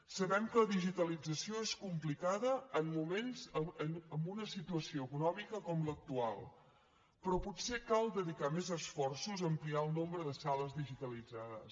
sabem que la digitalització és complicada en moments amb una situació econòmica com l’actual però potser cal dedicar més esforços a ampliar el nombre de sales digitalitzades